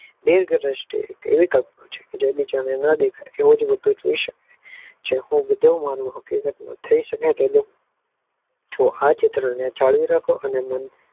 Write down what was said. Bing દ્રષ્ટએ એવી કલ્પના છે જે બીજાને ન દેખાય એજ રીતે પીસો જેમકે હકીકતમાં જો આ ચિત્રને જાળવી રાખો અને